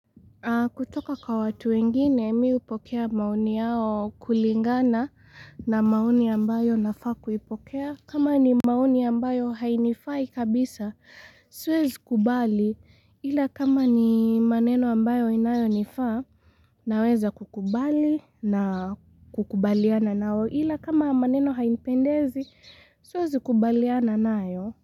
Kutoka kwa watu wengine, mii hupokea maoni yao kulingana na maoni ambayo nafaa kuipokea. Kama ni maoni ambayo hainifai kabisa, siwezi kubali ila kama ni maneno ambayo inayonifaa naweza kukubali na kukubaliana nao ila kama maneno hainipendezi, siwezi kubaliana nayo.